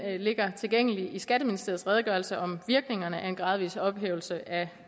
ligger tilgængelig i skatteministeriets redegørelse om virkningerne af gradvis ophævelse af